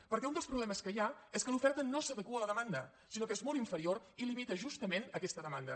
perquè un dels problemes que hi ha és que l’oferta no s’adequa a la demanda sinó que és molt inferior i limita justament aquesta demanda